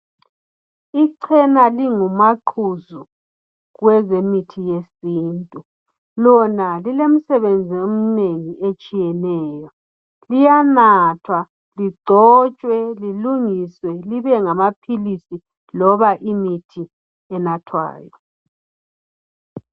Icena lingumaqhuzu kwezemithi yesintu lona lilemisebenzi omnengi etshiyeneyo liyanathwa ligxotshwe lilungiswe libe amaphilisi noma imithi enathwayo